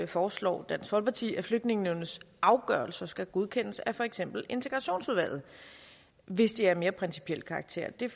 foreslår dansk folkeparti at flygtningenævnets afgørelser skal godkendes af for eksempel integrationsudvalget hvis de er af mere principiel karakter det